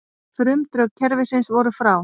Frumdrög kerfisins voru frá